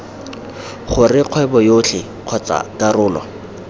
gore kgwebo yotlhe kgotsa karolo